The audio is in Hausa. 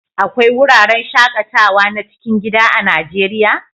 Akwai wuraren shaƙatawa na cikin gida a Najeriya?